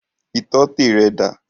Ìtọ́tẹ̀ rẹ dà?